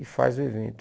E faz o evento.